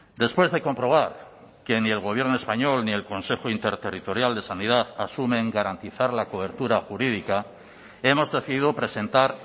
después de comprobar que ni el gobierno español ni el consejo interterritorial de sanidad asumen garantizar la cobertura jurídica hemos decidido presentar